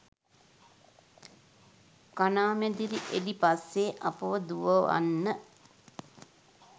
කණාමැදිරි එලි පස්සේ අපව දුවවන්න?